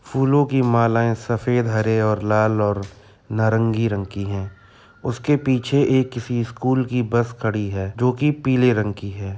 फूलों की मालाएं सफ़ेद हरे और लाल और नारंगी रंग की हैं। उसके पीछे एक किसी स्कूल की बस खड़ी है जो कि पीले रंग की है।